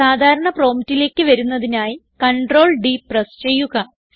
സാധാരണ promptലേക്ക് വരുന്നതിനായി Ctrl D പ്രസ് ചെയ്യുക